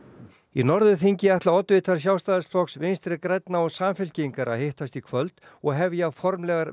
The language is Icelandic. í Norðurþingi ætla oddvitar Sjálfstæðisflokks Vinstri grænna og Samfylkingar að hittast í kvöld og hefja formlegar